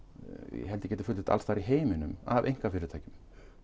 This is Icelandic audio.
ég held ég geti fullyrt alls staðar í heiminum af einkafyrirtækjum